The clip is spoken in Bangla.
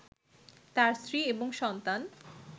তার স্ত্রী এবং সন্তান